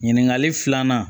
Ɲininkali filanan